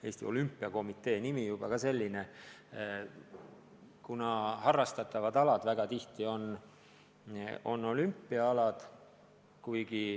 Eesti Olümpiakomiteel on juba nimi selline – paljud harrastatavad alad on olümpiaalad.